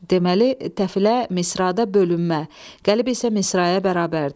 Deməli, təfilə misrada bölünmə, qəlib isə misraya bərabərdir.